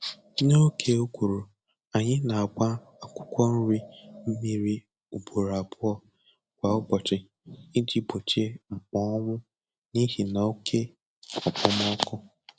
N'oge ụguru, anyị na-agba akwụkwọ nri mmiri ugboro abụọ kwa ụbọchị iji gbochie mkpọnwụ n'ihi na oke okpomọkụ